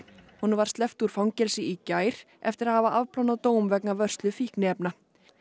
honum var sleppt úr fangelsi í gær eftir að hafa afplánað dóm vegna vörslu fíkniefna